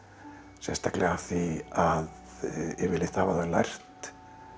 sérstaklega af því að yfirleitt hafa þau lært